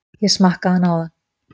Ég smakkaði hann áðan.